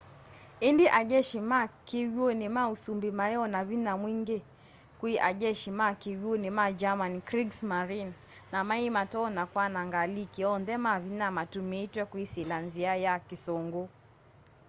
indi a jeshi ma kiw'uni ma usumbi mai o na vinya mwingi kwii ajeshi ma kiw'uni ma germany kriegsmarine” na mai matonya kwananga aliki onthe ma vinya matumitwe kwisila nzia ya kisungu